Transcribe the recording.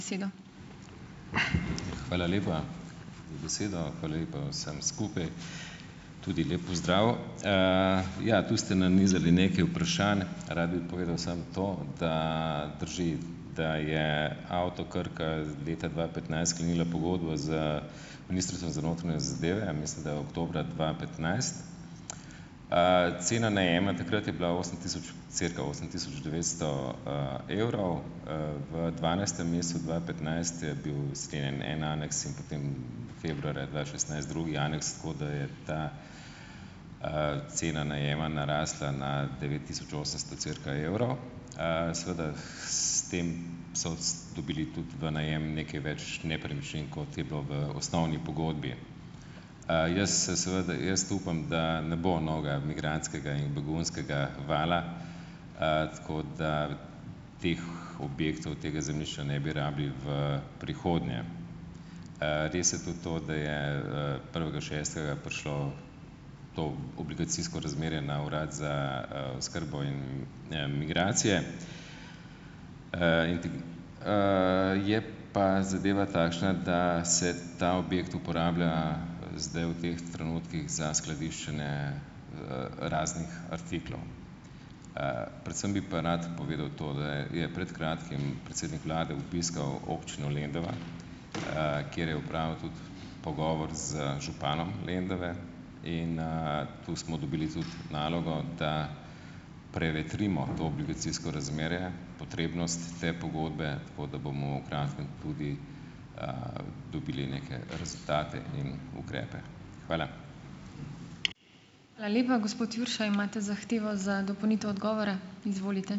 Hvala lepa za besedo, hvala lepa vsem skupaj. Tudi lep pozdrav! Ja, tu ste nanizali nekaj vprašanj. Rad bi povedal samo to, da drži, da je Avto Krka leta dva petnajst sklenila pogodbo z Ministrstvom za notranje zadeve, mislim, da oktobra dva petnajst. Cena najema takrat je bila osem tisoč cirka osem tisoč devetsto, evrov, v dvanajstem mesecu dva petnajst je bil sklenjen en aneks in potem februarja dva šestnajst drugi aneks, tako da je ta, cena najema narasla na devet tisoč osemsto cirka evrov. Seveda, s tem so dobili tudi v najem nekaj več nepremičnin, kot je bilo v osnovni pogodbi. Jaz se seveda jaz upam, da ne bo novega migrantskega in begunskega vala, tako da teh objektov, tega zemljišča ne bi rabili v prihodnje. Res je tudi to, da je, prvega šestega prišlo to obligacijsko razmerje na urad za, oskrbo in, migracije, je pa zadeva takšna, da se ta objekt uporablja zdaj v teh trenutkih za skladiščenje, raznih artiklov. Predvsem bi pa rad povedal to, da je je pred kratkim predsednik vlade obiskal občino Lendava, kjer je opravil tudi pogovor z županom Lendave in, tu smo dobili tudi nalogo, da prevetrimo to obligacijsko razmerje, potrebnost te pogodbe, tako da bomo v kratkem tudi, dobili neke rezultate in ukrepe. Hvala.